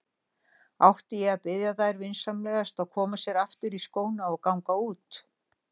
Átti ég að biðja þær vinsamlegast að koma sér aftur í skóna og ganga út?